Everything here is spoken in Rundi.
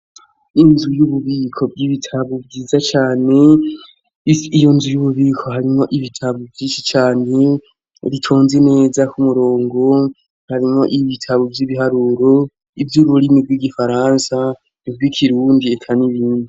Inzu y'ububiko vy'ibitabo vyiza cane ii iyo nzu y'ububiko harimwo ibitabo vyinshi cane ritonzi neza k'umurongo harimwo iyo bitabo vy'ibiharuro ivyo ururimi rw'igifaransa ni bwo ikirundi eka n'ibindi.